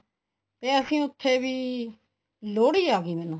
ਤੇ ਅਸੀਂ ਉੱਥੇ ਵੀ ਲੋਹੜੀ ਆਗੀ ਮੈਨੂੰ